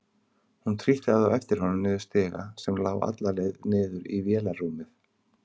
Hún trítlaði á eftir honum niður stiga sem lá alla leið niður í vélarrúmið.